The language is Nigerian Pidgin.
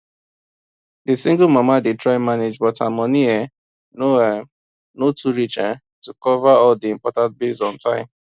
the single mama dey try manage but her money um no um no too reach um cover all the important bills on time